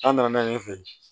An nana ɲɛ fɛ